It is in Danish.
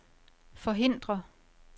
forhindre